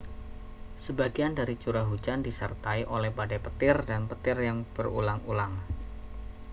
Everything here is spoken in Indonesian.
sebagian dari curah hujan disertai oleh badai petir dan petir yang berulang-ulang